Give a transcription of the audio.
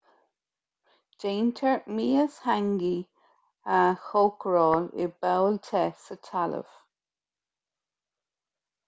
déantar mias hangi a chócaráil i bpoll te sa talamh